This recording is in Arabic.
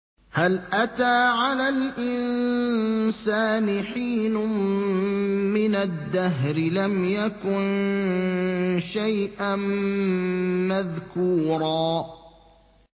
هَلْ أَتَىٰ عَلَى الْإِنسَانِ حِينٌ مِّنَ الدَّهْرِ لَمْ يَكُن شَيْئًا مَّذْكُورًا